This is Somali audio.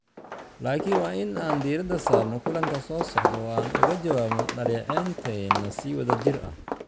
laakiin waa in aan diirada saarno kulanka soo socda, oo aan uga jawaabno dhaleecaynteena si wadajir ah."